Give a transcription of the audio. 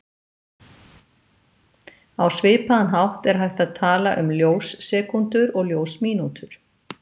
Á svipaðan hátt er hægt að tala um ljós-sekúndur og ljós-mínútur.